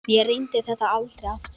Ég reyndi þetta aldrei aftur.